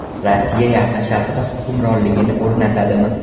Rossiya Yaqin Sharqda hukmronligini o‘rnatadimi?